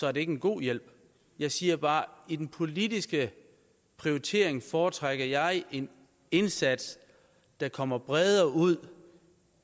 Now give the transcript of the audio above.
er det ikke en god hjælp jeg siger bare at i den politiske prioritering foretrækker jeg en indsats der kommer bredere ud